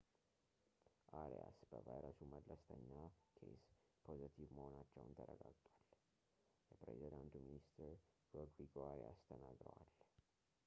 አሪያስ በቫይረሱ መለስተኛ ኬዝ ፖዘቲቭ መሆናቸው ተረጋግጧል የፕሬዝዳንቱ ሚኒስትር ሮድሪጎ አሪያስ ተናግረዋል